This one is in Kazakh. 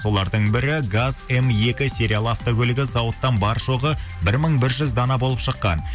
солардың бірі газ м екі сериялы автокөлігі зауыттан бар жоғы бір мың бір жүз дана болып шыққан